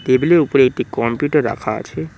টেবিলের উপরে একটি কম্পিউটার রাখা আছে।